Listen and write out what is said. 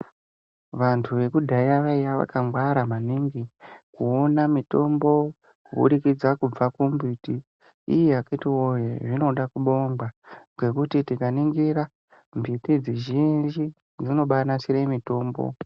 Vantu vekudhaya vaiya vakangwara maningi kuona mitombo kuburikidza kubva kumbiti iiiii akitiwoye zvinoda kubongwa kwekuti tikaningira mbiti dzizhinji dzinobanasire mitombo.